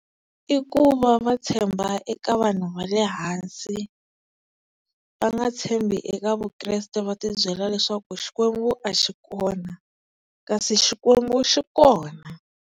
I ku va va tshemba eka vanhu va le hansi va nga tshembi eka Vukreste, va tibyela leswaku Xikwembu a xi kona, kasi xikwembu xi kona.